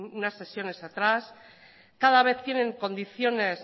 unas sesiones atrás cada vez tienen condiciones